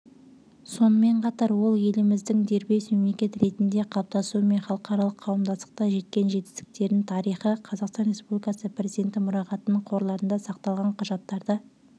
сонымен қатар ол еліміздің дербес мемлекет ретінде қалыптасуы мен халықаралық қауымдастықта жеткен жетістерінің тарихы қазақстан республикасы президенті мұрағатының қорларында сақталған құжаттарда